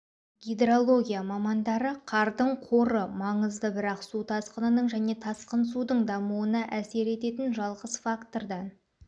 гидрология мамандары қардың қоры маңызды бірақ су тасқынының және тасқын судың дамуына әсер ететін жалғыз фактордан